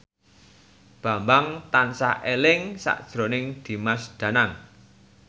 Bambang tansah eling sakjroning Dimas Danang